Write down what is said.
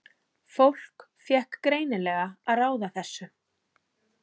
Fólk fékk greinilega að ráða þessu.